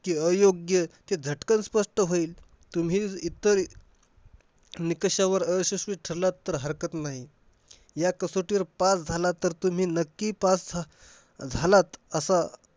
की अयोग्य ते झटकन स्पष्ट होईल. तुम्ही इतर निकषावर अयशस्वी ठरला तर हरकत नाही. ह्या कसोटीवर तुम्ही pass झाला तर नक्की pass अह झालात असं.